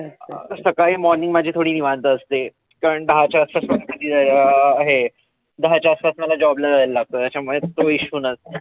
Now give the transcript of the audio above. सकाळी morning माझी थोडी निवांत असते. कारण दहाच्या आत अं हे. दहाच्या आसपास मला job ला जायला लागतं त्याच्या मुळ तो issue